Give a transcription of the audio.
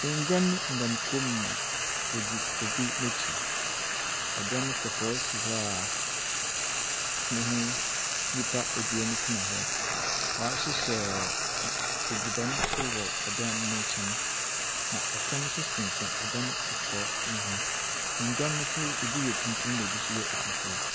Nngwan nam krom ma wɔdze obi n'akyir. Ɛdan kɔkɔɔ si hɔ aa neho nipa ebien tena hɔ. W'ahyehyɛ adziban so wɔ edan ne nkyɛn, na ɛtam so sinsɛm ɛdan kɔkɔɔ no ho. Nngwan no so ebi yɛ tuntum na ebi yɛ fufuw.